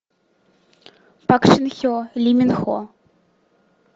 пак шин хе ли мин хо